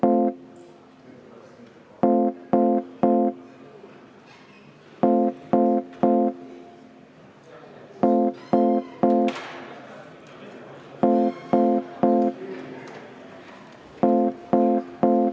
Hääletustulemused Ettepaneku poolt oli 3 Riigikogu liiget, vastu 50, erapooletuid 2.